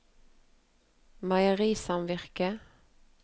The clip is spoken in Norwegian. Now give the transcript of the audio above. meierisamvirket